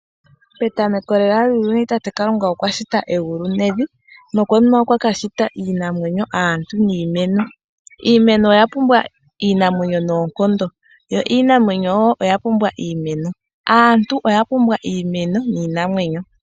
Petamoko lela lyuuyuni tate Kalunga okwa shita egulu nevi nokonima okwa kashita iinamwenyo, aantu niimeno. Iimeno oya pumbwa iinamwenyo noonkondo yo iinamwenyo oya pumbwa iimeno, aantu oya pumbwa iimeno niinamwenyo.